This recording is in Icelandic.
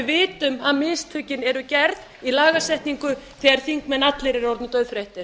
vitum að mistökin eru gerð í lagasetningu þegar þingmenn allir eru orðnir dauðþreyttir